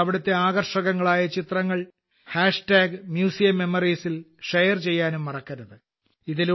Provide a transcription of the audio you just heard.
നിങ്ങൾ അവിടുത്തെ ആകർഷകങ്ങളായ ചിത്രങ്ങൾ മ്യൂസിയം മെമ്മോറിയൽ ൽ ഷെയർ ചെയ്യാനും മറക്കരുത്